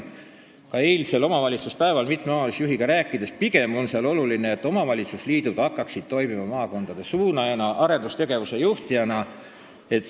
Ka eilsel omavalitsuspäeval selgus mitme omavalitsusjuhiga rääkides, et pigem on oluline, et maakondlikud omavalitsusliidud hakkaksid toimima maakondade suunajana ja arendustegevuse juhtijana.